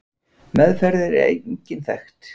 Meðferð er engin þekkt.